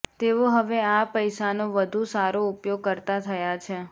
તેઓ હવે આ પૈસાનો વધુ સારો ઉપયોગ કરતાં થયાં છે